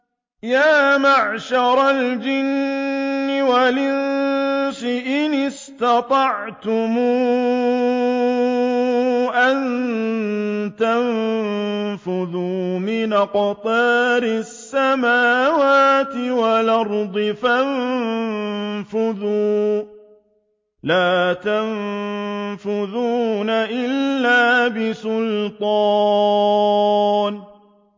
يَا مَعْشَرَ الْجِنِّ وَالْإِنسِ إِنِ اسْتَطَعْتُمْ أَن تَنفُذُوا مِنْ أَقْطَارِ السَّمَاوَاتِ وَالْأَرْضِ فَانفُذُوا ۚ لَا تَنفُذُونَ إِلَّا بِسُلْطَانٍ